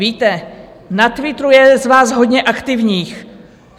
Víte, na Twitteru je z vás hodně aktivních.